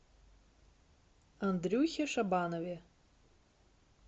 андрюхе шабанове